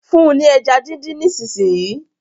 fún ní ẹja din dín nísìsiyìí!